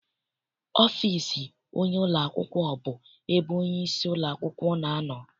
Ọfịịsi onyeisi ụlọakwụkwọ bụ ebe onyeisi ụlọakwụkwọ na-anọ.